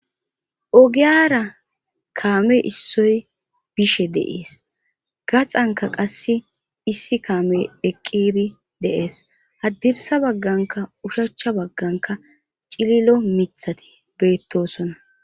Ogiyara kamme issoy bishe deees gaxanka qasse issi kaame eqqiri deees haddirsa bagganka ushachcha bagganka cililo mithati beettosona.